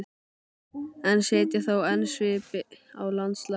en setja þó enn svip á landslag.